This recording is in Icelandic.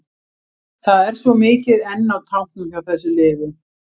Það er svo mikið enn á tanknum hjá þessu liði.